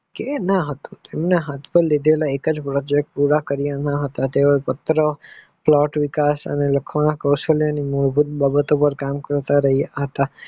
કે ના હતું તેમના હાથ પર લીધેલા એકજ project પુરા કારિયા ન હતા તેવો પત્ર plot અને વિકાસ કોશલયની વિકાશ મૂળભૂત બાબતો ને કામ કરતા રહિયા હતા.